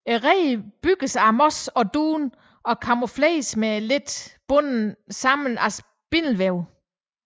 Reden bygges af mos og dun og kamufleres med lav bundet sammen af spindelvæv